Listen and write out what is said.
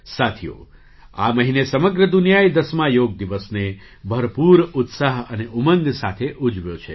સાથીઓ આ મહિને સમગ્ર દુનિયાએ ૧૦મા યોગ દિવસને ભરપૂર ઉત્સાહ અને ઉમંગ સાથે ઉજવ્યો છે